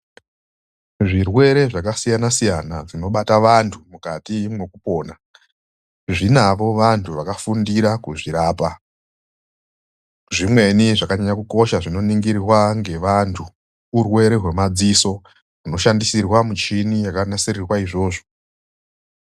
Zvirwere zvakasiyana siyana zvinobata vanhu mukati mekupona zvinavo vanhu vakafundira kuzvirapa. Zvimweni zvakanyanya kukosha zvinoningirwa ngevantu urwere wemadziso unoshandisirwa micheni yakanasirirwe izvozvo.